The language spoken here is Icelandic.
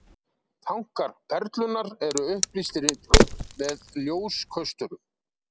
Tankar Perlunnar eru upplýstir með ljóskösturum.